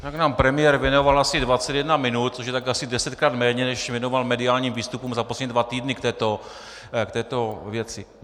Tak nám premiér věnoval asi 21 minut, což je asi tak desetkrát méně, než věnoval mediálním výstupům za poslední dva týdny k této věci.